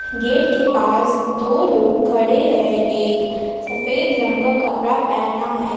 Gate के पास दो लोग खड़े है एक सफेद रंग का कपड़ा पहना है।